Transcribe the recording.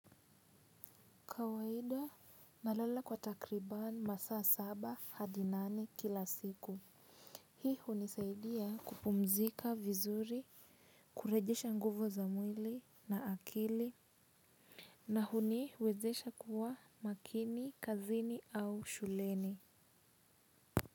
Kawaida nalala kwa takribani masaa saba hadi nane kila siku. Hii hunisaidia kupumzika vizuri kurejesha nguvu za mwili na akili. Na huniwezesha kuwa makini kazini au shuleni.